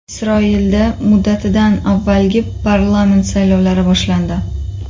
Isroilda muddatidan avvalgi parlament saylovlari boshlandi.